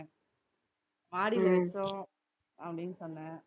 அப்படீன்னு சொன்னேன்